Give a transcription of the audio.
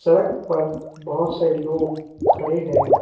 सड़क पर बहोत सारे लोग खड़े हैं।